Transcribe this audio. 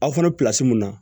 Aw fana bɛ min na